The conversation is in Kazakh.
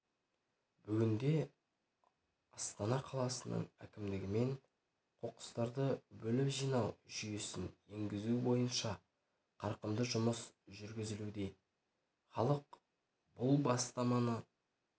бүгінде астана қаласының әкімдігімен қоқыстарды бөліп жинау жүйесін енгізу бойынша қарқынды жұмыс жүргізілуде халық бұл бастаманы